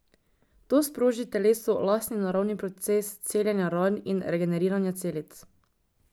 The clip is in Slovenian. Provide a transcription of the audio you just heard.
To sproži telesu lastni naravni proces celjenja ran in regeneriranja celic.